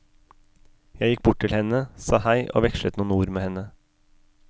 Jeg gikk bort til henne, sa hei og vekslet noen ord med henne.